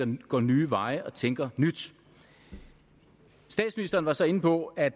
vi går nye veje og tænker nyt statsministeren var så inde på at